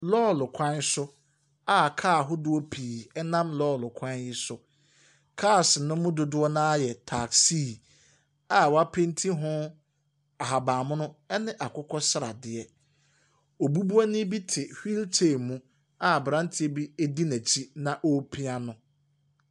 Lɔre kwan so a kaa ahodoɔ pii nam lɔre kwan yi so. Cars no mu dodoɔ no ara yɛ taasii a wɔapenti ho ahaban mono ne akokɔ sradeɛ. Obubuani bi te wheelchair mu a aberanteɛ bi di n'akyi na ɔrepia no.